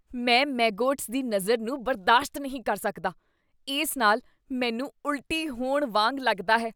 ਮੈਂ ਮੈਗੋਟਸ ਦੀ ਨਜ਼ਰ ਨੂੰ ਬਰਦਾਸ਼ਤ ਨਹੀਂ ਕਰ ਸਕਦਾ, ਇਸ ਨਾਲ ਮੈਨੂੰ ਉਲਟੀ ਹੋਣ ਵਾਂਗ ਲੱਗਦਾ ਹੈ।